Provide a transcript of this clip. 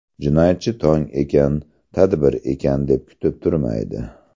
Jinoyatchi tong ekan, tadbir ekan, deb kutib turmaydi.